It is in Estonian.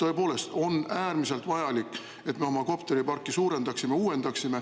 On tõepoolest äärmiselt vajalik, et me oma kopteriparki suurendaksime ja uuendaksime.